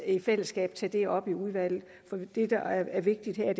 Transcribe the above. i fællesskab tage det op i udvalget det der er vigtigt her